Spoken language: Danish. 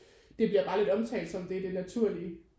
Det bliver bare lidt omtalt som det er det naturlige